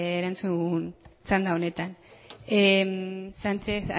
erantzun txanda honetan sanchez